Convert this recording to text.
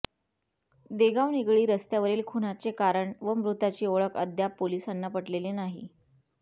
देगाव निगडी रस्त्यावरील खुनाचे कारण व मृताची ओळख अद्याप पोलिसांना पटलेली नाही